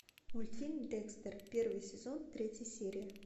мультфильм декстер первый сезон третья серия